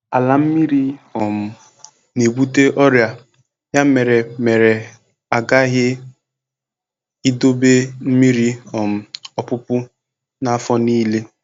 Ala mmiri um na-ebute ọrịa, ya mere mere a ghaghị idobe mmiri um ọpụpụ n'afọ niile.